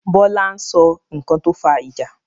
Bọlá ń sọ nkan tó fa ìjà